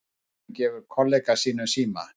Presturinn gefur kollega sínum síma